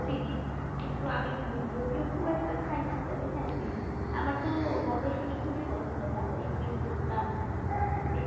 চিনি কিন্তু আমি যদিও খুব একটা খাই না তবে হ্যাঁ চিনি। আমার তো মটরশুটি খুবই পছন্দ মটরশুটি, ভুট্টা এই